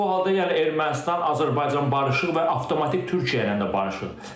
Bu halda yəni Ermənistan Azərbaycan barışıq və avtomatik Türkiyə ilə də barışıq.